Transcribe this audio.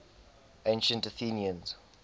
ancient athenians